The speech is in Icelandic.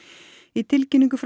í tilkynningu